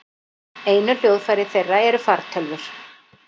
Einu hljóðfæri þeirra eru fartölvur.